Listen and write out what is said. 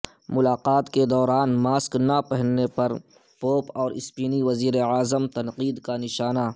ملاقات کے دوان ماسک نہ پہننے پر پوپ اور اسپینی وزیراعظم تنقید کا نشانہ